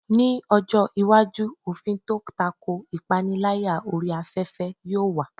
Ní ọjọ́ iwájú, òfin tó tako ìpániláyà orí afẹ́fẹ́ yóò wà.